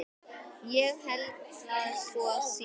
Ég held að svo sé.